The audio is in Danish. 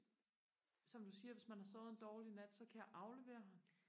som du siger hvis man har sovet en dårlig nat så kan jeg aflevere ham